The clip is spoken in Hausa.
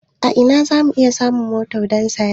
A ina za mu iya samun mota don saya?